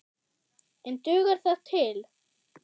En dugar það til?